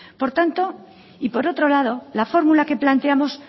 por tanto y por otro lado la fórmula que planteamos